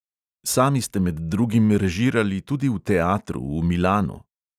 Sami ste med drugim režirali tudi v teatru v milanu.